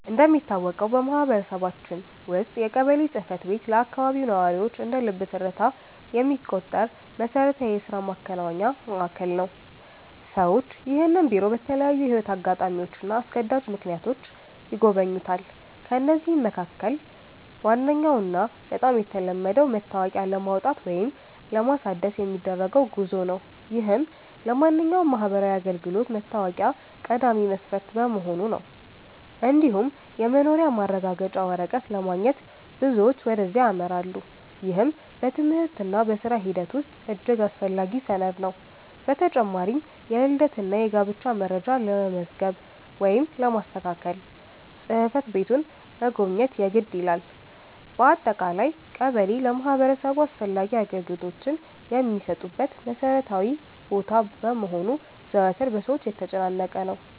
እንደሚታወቀው በማህበረሰባችን ውስጥ የቀበሌ ጽሕፈት ቤት ለአካባቢው ነዋሪዎች እንደ ልብ ትርታ የሚቆጠር መሠረታዊ የሥራ ማከናወኛ ማዕከል ነው። ሰዎች ይህንን ቢሮ በተለያዩ የሕይወት አጋጣሚዎችና አስገዳጅ ምክንያቶች ይጎበኙታል። ከነዚህም መካከል ዋነኛውና በጣም የተለመደው መታወቂያ ለማውጣት ወይም ለማሳደስ የሚደረገው ጉዞ ነው፤ ይህም ለማንኛውም ማህበራዊ አገልግሎት መታወቂያ ቀዳሚ መስፈርት በመሆኑ ነው። እንዲሁም የመኖሪያ ማረጋገጫ ወረቀት ለማግኘት ብዙዎች ወደዚያ ያመራሉ፤ ይህም በትምህርትና በሥራ ሂደት ውስጥ እጅግ አስፈላጊ ሰነድ ነው። በተጨማሪም የልደትና የጋብቻ መረጃ ለመመዝገብ ወይም ለማስተካከል ጽሕፈት ቤቱን መጎብኘት የግድ ይላል። በአጠቃላይ ቀበሌ ለማህበረሰቡ አስፈላጊ አገልግሎቶች የሚሰጡበት መሠረታዊ ቦታ በመሆኑ ዘወትር በሰዎች የተጨናነቀ ነው።